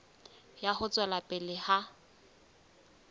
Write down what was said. ya ho tswela pele ha